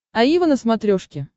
аива на смотрешке